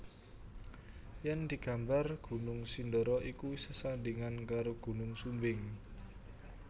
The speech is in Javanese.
Yen digambar Gunung Sindoro iku sesandingan karo Gunung Sumbing